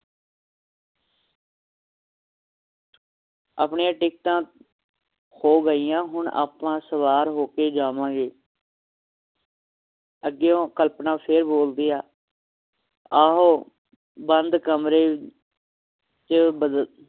ਆਪਣੀਆਂ ਟਿਕਟਾਂ ਹੋ ਗਈਆਂ ਹੁਣ ਆਪਾਂ ਸਵਾਰ ਹੋ ਕੇ ਜਾਵਾਂਗੇ ਅੱਗਿਓਂ ਕਲਪਨਾ ਫੇਰ ਬੋਲਦੀ ਹੈ ਆਹੋ ਬੰਦ ਕਮਰੇ ਚ ਬੱਦਲ